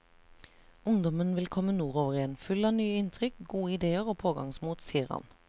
Ungdommen vil komme nordover igjen, full av nye inntrykk, gode idéer og pågangsmot, sier han.